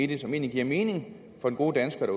det som giver mening for de gode danskere